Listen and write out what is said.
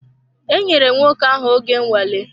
E nyèrè nwoke ahụ oge nnwale